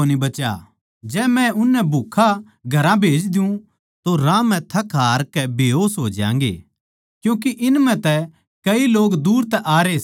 जै मै उननै भूक्खा घरां भेज द्यु तो राह म्ह थक हार कै बेहोस हो ज्यांगें क्यूँके इन म्ह तै कई लोग दूर तै आरे सै